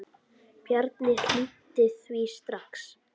Bjarni hlýddi því strax.